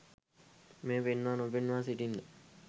මෙය පෙන්වා නොපෙන්වා සිටින්න.